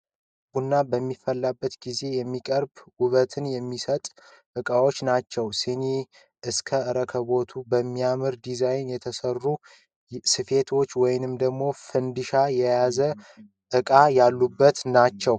ቡና በሚፈላበት ጊዜ የሚቀራርቡ ዉበትን የሚሰጡት እቃዎች ናቸው ።ሲኒ እስከ ሮኮቦቱ፣ በሚያምር ዲዛይን የተሰሩ ስፌቶች ወይም ፈንድሻ የያዘ እቃ ያሉበት ነው።